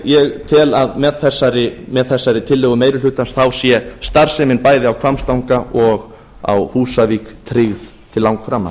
ég tel að með þessari tillögu meiri hlutans sé starfsemin bæði á hvammstanga og á húsavík tryggð til langframa